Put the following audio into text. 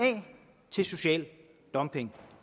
til social dumping